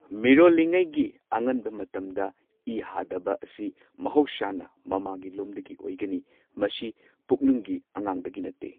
ꯃꯤꯔꯣꯜꯂꯤꯉꯩꯒꯤ ꯑꯉꯟꯕ ꯃꯇꯝꯗ ꯏ ꯍꯥꯗꯕ ꯑꯁꯤ ꯃꯍꯧꯁꯥꯅ ꯃꯃꯥꯒꯤꯂꯣꯝꯗꯒꯤ ꯑꯣꯢꯒꯅꯤ꯫ ꯃꯁꯤ ꯄꯨꯛꯅꯨꯡꯒꯤ ꯑꯉꯥꯡꯗꯒꯤ ꯅꯠꯇꯦ꯫